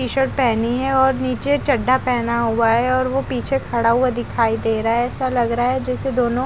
T shirt पेहनी है और नीचे चड्ढा पहना हुआ है और वो पीछे खड़ा हुआ दिखाई दे रहा है ऐसा लग रहा है जैसे दोनों--